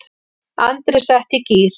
Andri setti í gír.